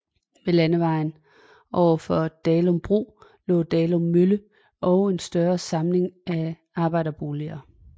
Ved Landevejen oven for Dalum Bro lå Dalum Mølle og en større samling af arbejderboliger